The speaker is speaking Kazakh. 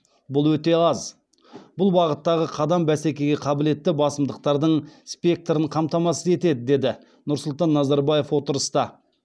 бұл өте аз бұл бағыттағы қадам бәсекеге қабілетті басымдықтардың спектрін қамтамасыз етеді деді нұрсұлтан назарбаев отырыста